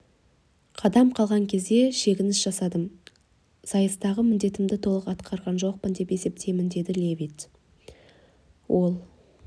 қадам қалған кезде шегініс жасадым сайыстағы міндетімді толық атқарған жоқпын деп есептеймін деді левит ол